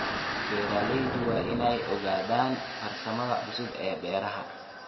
Beeralayda waa in ay ogaadaan farsamada cusub ee beeraha.